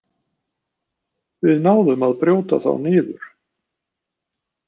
Við náðum að brjóta þá niður